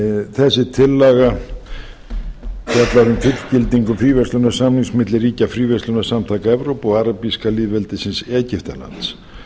þessi tillaga fjallar um fullgildingu fríverslunarsamnings milli ríkja fríverslunarsamtaka evrópu og arabíska lýðveldisins egyptalands